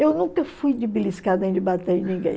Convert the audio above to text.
Eu nunca fui de beliscada nem de bater em ninguém.